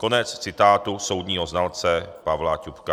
Konec citátu soudního znalce Pavla Ťupka.